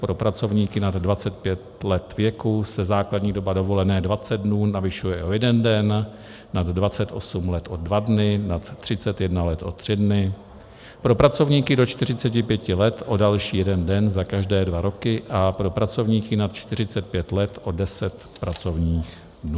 Pro pracovníky nad 25 let věku se základní doba dovolené 20 dnů navyšuje o jeden den, nad 28 let o dva dny, nad 31 let o tři dny, pro pracovníky do 45 let o další jeden den za každé dva roky a pro pracovníky nad 45 let o 10 pracovních dnů.